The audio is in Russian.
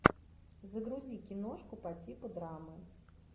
загрузи киношку по типу драмы